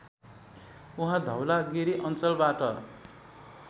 उहाँ धौलागिरी अञ्चलबाट